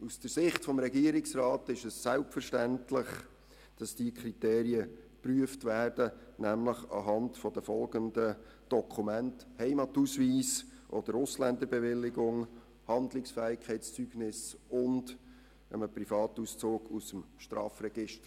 Aus der Sicht des Regierungsrats ist es selbstverständlich, dass diese Kriterien anhand der folgenden Dokumente geprüft werden: Heimatausweis oder Ausländerbewilligung, Handlungsfähigkeitszeugnis sowie Privatauszug aus dem Strafregister.